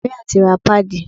Màríà ti ra páàdì.